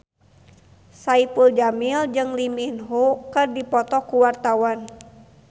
Saipul Jamil jeung Lee Min Ho keur dipoto ku wartawan